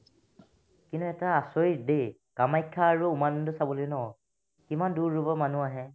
কিন্তু এটা আচৰিত দেই কামাখ্যা আৰু উমানন্দ চাবলৈ ন কিমান দূৰ দূৰৰ পৰা মানুহ আহে